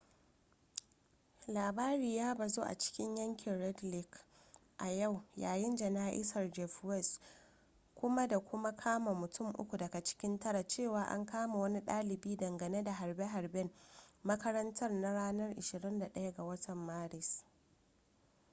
labari ya bazu a cikin yankin red lake a yau yayin jana'izar jeff weise kuma da kuma kama mutun uku daga cikin tara cewa an kama wani ɗalibi dangane da harbe-harben makarantar na ranar 21 ga maris